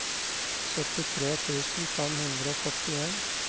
syttitre tusen fem hundre og førtien